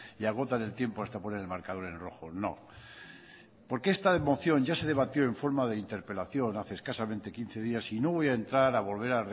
y agotan el tiempo hasta poner el marcador en rojo no porque esta moción ya se debatió en forma de interpelación hace escasamente quince días y no voy a entrar a volver